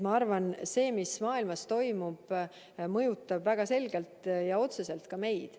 Ma arvan, et see, mis maailmas toimub, mõjutab väga selgelt ja otseselt ka meid.